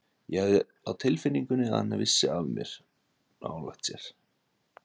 Ég hafði á tilfinningunni að hann vissi af mér nálægt sér.